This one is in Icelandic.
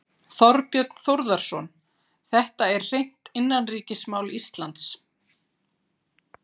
Þorbjörn Þórðarson: Þetta er hreint innanríkismál Íslands?